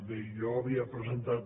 bé jo havia presentat